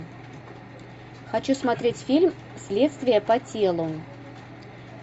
хочу смотреть фильм следствие по телу